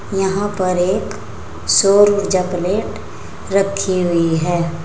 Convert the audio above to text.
यहां पर एक सौरऊर्जा प्लेट रखी हुई है।